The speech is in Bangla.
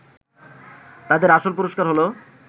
তাদের আসল পুরস্কার হলো